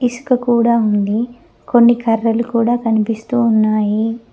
ఇసుక కూడా ఉంది కొన్ని కర్రలు కూడా కనిపిస్తూ ఉన్నాయి.